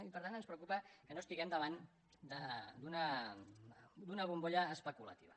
i per tant ens preocupa que no estiguem davant d’una bombolla especulativa